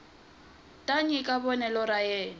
ta nyika vonelo ra yena